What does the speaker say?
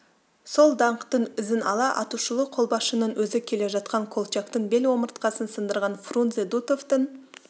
сол даңқтың ізін ала атышулы қолбасшының өзі келе жатқан колчактың бел омыртқасын сындырған фрунзе дутовтың